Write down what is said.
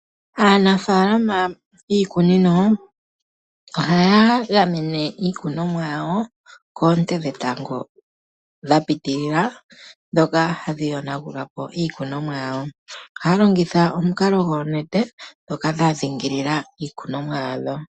Aanafaalama yiikunino ohaya gamene iikunomwa yawo koonte dhetango dha pitilila, dhoka hadhi yonagulapo iikunomwa yawo. Ohaya longitha omukalo goonete dhoka dha dhingilila iikunomwa yawo.